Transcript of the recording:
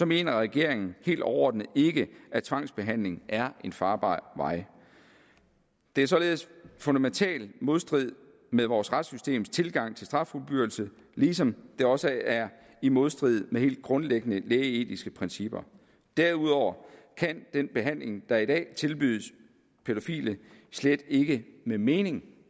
mener regeringen helt overordnet ikke at tvangsbehandling er en farbar vej det er således i fundamental modstrid med vores retssystems tilgang til straffuldbyrdelse ligesom det også er i modstrid med helt grundlæggende lægeetiske principper derudover kan den behandling der i dag tilbydes pædofile slet ikke med mening